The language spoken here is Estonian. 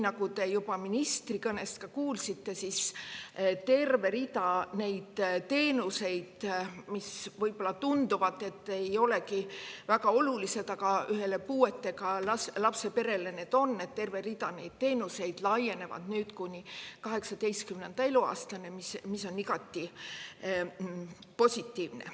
Nagu te juba ministri kõnest kuulsite, terve rida teenuseid, mis võib-olla tunduvad mitte väga olulised, aga ühele puudega lapse perele seda on, laienevad nüüd kuni 18. eluaastani, mis on igati positiivne.